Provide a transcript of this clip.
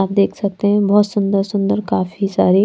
आप देख सकते हैं बहोत सुंदर सुंदर काफी सारी--